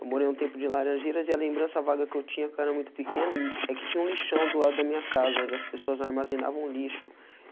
Eu morei um tempo de laranjeiras e a lembrança vaga que eu tinha, que era muito pequeno, é que tinha um lixão do lado da minha casa, onde as pessoas armazenavam lixo.